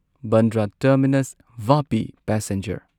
Bandra terminus Vapi passenger